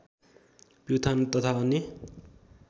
प्युठान तथा अन्य